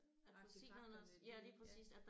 Artefakterne de ja